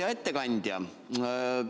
Hea ettekandja!